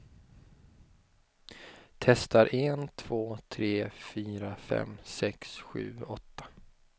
Testar en två tre fyra fem sex sju åtta.